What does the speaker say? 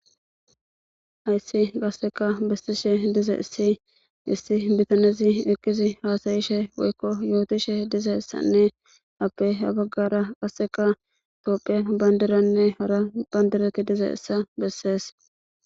Hayssi qasseka bessishe diza issi issi bitanezi ekkizi haasayishe woykko yootishe dize issanne appe habaggara qasseka tophiya bandiranne hara bandirati dize issa bessees.